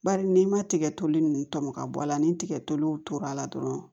Bari n'i ma tigɛtoli nunnu tɔmɔ ka bɔ a la ni tigɛtow tor'a la dɔrɔn